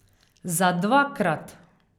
Za dvakrat.